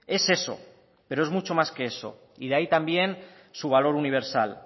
es eso pero es mucho más que eso y de ahí también su valor universal